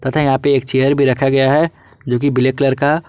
तथा यहां पे एक चेयर भी रखा गया है जो की ब्लैक कलर का--